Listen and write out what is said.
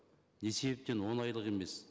не себептен он айлық емес